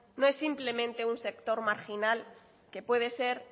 no es simplemente un sector marginal que puede ser